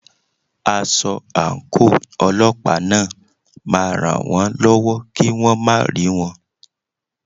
Aṣọ àǹkóò Ọlọ́pàá náà ma ràn wón lọ́wọ́ kí wón má rí wọn.